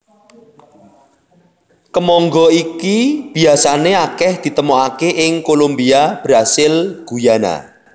Kemangga iki biasané akèh ditemokaké ing Kolumbia Brasil Guyana